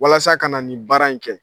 Walasa ka na ni baara in kɛ.